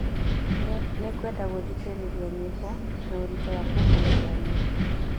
Nĩngwenda gũthikĩrĩria nyimbo na ũritũ wa kũhoorerania.